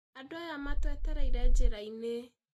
Andũ aya matũetereire njira-inĩ